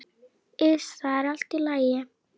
Iss, það er allt í lagi.